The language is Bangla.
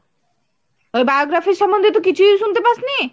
ওই biography র সম্বন্ধে তো কিছুই শুনতে পাসনি?